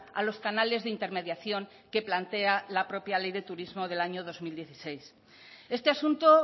a los canales de intermediación que plantea la propia ley de turismo del año dos mil dieciséis este asunto